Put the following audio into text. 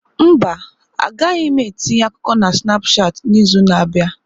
Mba, agaghị m etinye akụkọ na Snapushat n'izu na-abịa.